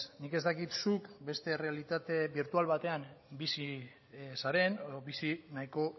nik ez dakit zuk beste errealitate birtual batean bizi zaren edo bizi nahiko